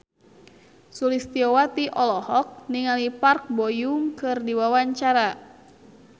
Sulistyowati olohok ningali Park Bo Yung keur diwawancara